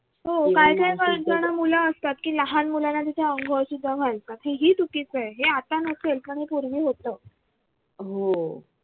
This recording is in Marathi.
हो काही काही college ला मूल असतात की लहान मुलांना तिथे अंघोळ सुद्धा घालतात हे ही चुकीचं आहे हे आता नसेल पण पूर्वी होत